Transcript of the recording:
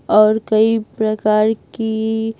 और कई प्रकार की --